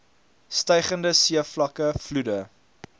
stygende seevlakke vloede